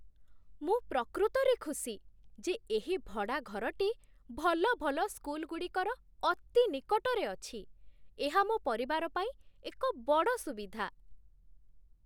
ମୁଁ ପ୍ରକୃତରେ ଖୁସି ଯେ ଏହି ଭଡ଼ା ଘରଟି ଭଲ ଭଲ ସ୍କୁଲଗୁଡ଼ିକର ଅତି ନିକଟରେ ଅଛି। ଏହା ମୋ ପରିବାର ପାଇଁ ଏକ ବଡ଼ ସୁବିଧା।